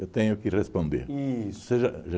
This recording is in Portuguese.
Eu tenho que responder. Isso. Você já